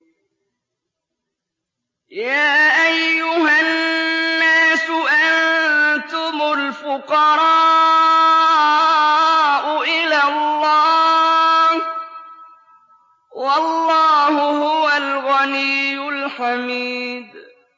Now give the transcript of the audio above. ۞ يَا أَيُّهَا النَّاسُ أَنتُمُ الْفُقَرَاءُ إِلَى اللَّهِ ۖ وَاللَّهُ هُوَ الْغَنِيُّ الْحَمِيدُ